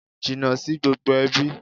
Jìnnà sí gbogbo ẹbí!